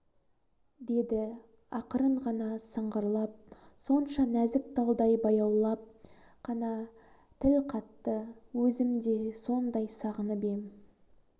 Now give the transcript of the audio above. деді ақырын ғана сыңғырлап сонша нәзік талдай баяулап қана тіл қатты өзім де сондай сағынып ем